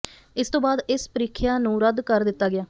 ਇਸ ਤੋਂ ਬਾਅਦ ਇਸ ਪ੍ਰੀਖਿਆ ਨੂੰ ਰੱਦ ਕਰ ਦਿੱਤਾ ਗਿਆ